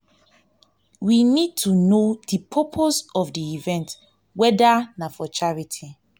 we need to know di purpose of di event weda na for charity